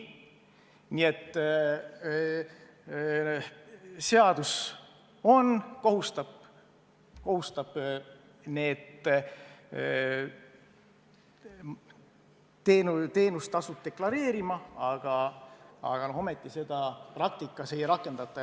Nii et seadus on, kohustab need teenustasud deklareerima, aga praktikas seda ei rakendata.